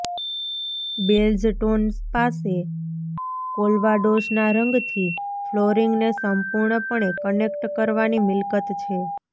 beige tone પાસે કેલ્વાડોસના રંગથી ફ્લોરિંગને સંપૂર્ણપણે કનેક્ટ કરવાની મિલકત છે